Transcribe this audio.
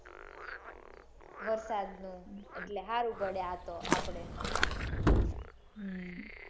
વરસાદ નું ન અને હારું પડે આતો આપડે હમ